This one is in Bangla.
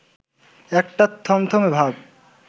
একটা থমথমে ভাব